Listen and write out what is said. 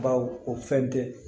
Baw o fɛn tɛ